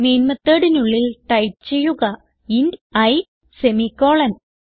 main methodനുള്ളിൽ type ചെയ്യുക int i semicolon